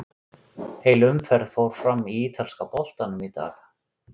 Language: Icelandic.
Heil umferð fór fram í ítalska boltanum í dag.